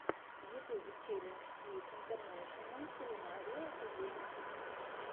в ютьюбе челлендж киев интернэшенал кулинари экэдими